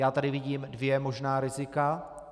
Já tady vidím dvě možná rizika.